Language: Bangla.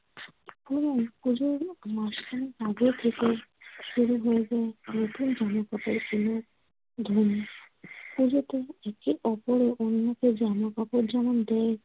পুরোনো পূজোর মাসখানেক আগে থেকে শুরু হয়ে যায় নতুন জামা-কাপড় কেনার ধুম। পুজোতে একে অপরে অন্যকে জামা-কাপড় যেমন দেয়